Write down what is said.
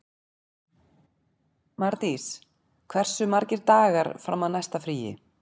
Mardís, hversu margir dagar fram að næsta fríi?